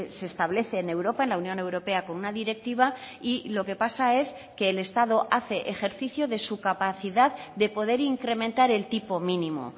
se establece en europa en la unión europea con una directiva y lo que pasa es que el estado hace ejercicio de su capacidad de poder incrementar el tipo mínimo